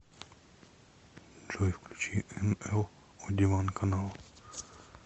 джой включи эн эл о диван канал